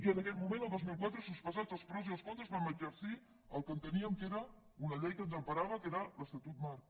i en aquell moment el dos mil quatre sospesats els pros i els contres vam exercir el que enteníem que era una llei que ens emparava que era l’estatut marc